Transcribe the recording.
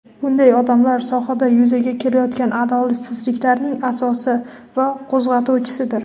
bunday odamlar sohada yuzaga kelayotgan adolatsizliklarning asosi va qo‘zg‘atuvchisidir.